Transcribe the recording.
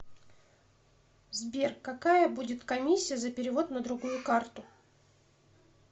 сбер какая будет комиссия за перевод на другую карту